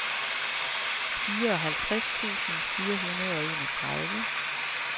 fireoghalvtreds tusind fire hundrede og enogtredive